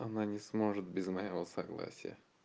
она не сможет без моего согласия